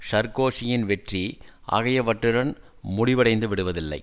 சர்க்கோசியின் வெற்றி ஆகியவற்றுடன் முடிவடைந்து விடுவதில்லை